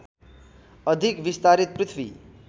अधिक विस्तारित पृथ्वी